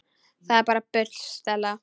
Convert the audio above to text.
Þetta er bara bull, Stella.